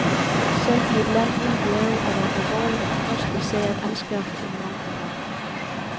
Selv i et land uden bjerge er det en alvorlig og bekostelig sag at anskaffe en mountainbike.